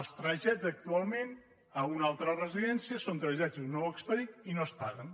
els trasllats actualment a una altra residència són trasllats d’un nou expedient i no es paguen